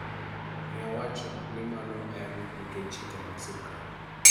Nowacho ni mano en nikech chike mag sirkal.